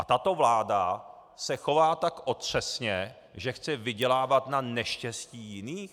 A tato vláda se chová tak otřesně, že chce vydělávat na neštěstí jiných?